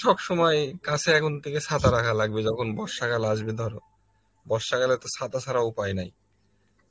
সবসময় কাছে এখন থেকে ছাতা রাখা লাগবে যখন বর্ষাকাল আসবে ধরো, বর্ষা কালে তো ছাতা ছাড়া উপায় নেই